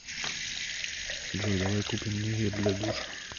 джой давай купим мне гель для душа